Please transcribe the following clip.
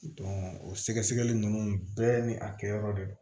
o sɛgɛsɛgɛli nunnu bɛɛ ni a kɛyɔrɔ de don